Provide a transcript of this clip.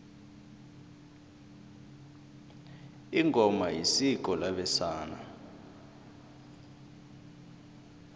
ingoma isiko labesana